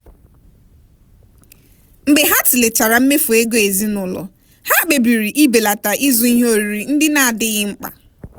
mgbe ha tụlechara mmefu ego ezinụlọ ha kpebiri ibelata ịzụ ihe oriri ndị na-adịghị mkpa.